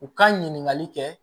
U ka ɲininkali kɛ